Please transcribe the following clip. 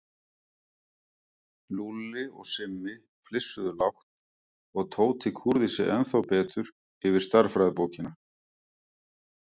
Lúlli og Simmi flissuðu lágt og Tóti kúrði sig ennþá betur yfir stærðfræðibókina.